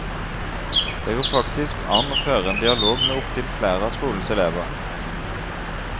Det går faktisk an å føre en dialog med opptil flere av skolens elever.